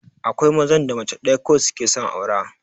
Akwai mazan da mace ɗaya kawai suke son aura